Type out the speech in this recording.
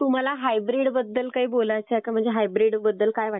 तुम्हाला हायब्रीड बद्दल काही बोलायचं आहे का? म्हणजे हायब्रीड बद्दल काय वाटतं?